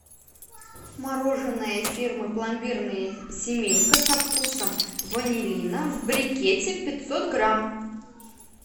мороженое фирмы пломбирная семейка со вкусом ванилина в брикете пятьсот грамм